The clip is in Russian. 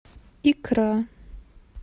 икра